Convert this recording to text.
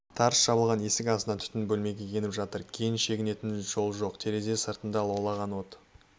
тарс жабылған есік астынан түтін бөлмеге еніп жатыр кейін шегінетін жол жоқ терезе сыртында лаулаған от